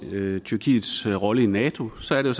tyrkiets rolle i nato så er det